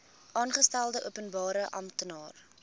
aangestelde openbare amptenaar